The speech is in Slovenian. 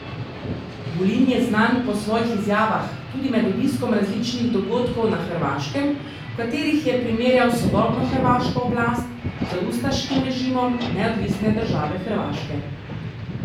Vulin je znan po svojih izjavah, tudi med obiskom različnih dogodkov na Hrvaškem, v katerih je primerjal sodobno hrvaško oblast z ustaškim režimom Neodvisne države Hrvaške.